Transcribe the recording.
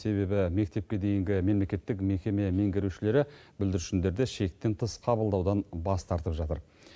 себебі мектепке дейінгі мемлекеттік мекеме меңгерушілері бүлдіршіндерді шектен тыс қабылдаудан бас тартып жатыр